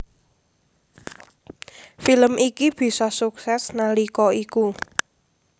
Film iki bisa sukses nalika iku